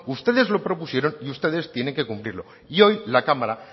ustedes lo propusieron y ustedes tienen que cumplirlo y hoy la cámara